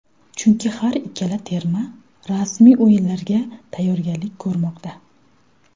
Chunki har ikkala terma rasmiy o‘yinlarga tayyorgarlik ko‘rmoqda.